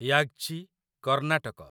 Yagachi Karnataka